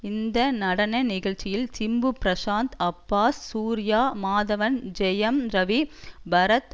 இந்த நடன நிகழ்ச்சியில் சிம்பு பிரசாந்த் அப்பாஸ் சூர்யா மாதவன் ஜெயம் ரவி பரத்